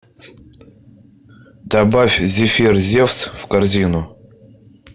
добавь зефир зефс в корзину